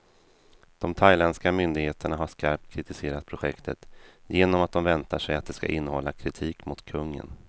De thailändska myndigheterna har skarpt kritiserat projektet, genom att de väntar sig att det ska innehålla kritik mot kungen.